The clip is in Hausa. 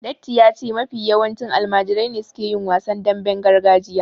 Datti ya ce mafi yawanci almajirai ne suke yin wasan damben gargajiya